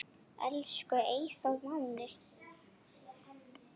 Elsku Eyþór Máni.